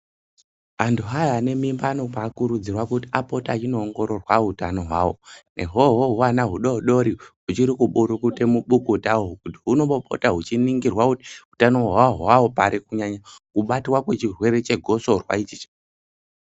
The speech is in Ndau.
Antu aya ane mimba anombai kurudzirwa kuti apote achino ongororwa hutano hwawo ihwohwo hwana hudodori huchiri ku burukute mubukuta hunombo pota huchi ningirwa hutano hwahwo pari kunyanya kubatwa kwe chirwere che gosorwa ichi.